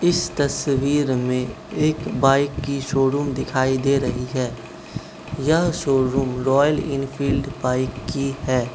इस तस्वीर में एक बाइक की शोरूम दिखाई दे रही है यह शोरूम रॉयल एनफील्ड बाइक की है।